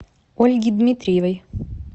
ольги дмитриевой